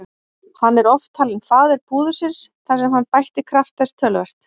Hann er oft talinn faðir púðursins þar sem hann bætti kraft þess töluvert.